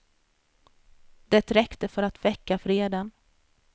Det räckte för att väcka vreden.